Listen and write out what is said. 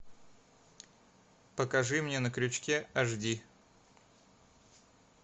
покажи мне на крючке аш ди